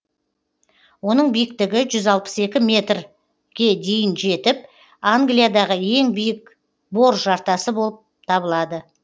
оның биіктігі жүз алпыс екі метрге дейін жетіп англиядағы ең биік бор жартасы болып табылады